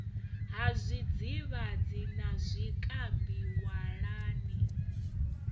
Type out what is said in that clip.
ha zwidzivhadzi na zwikambi walani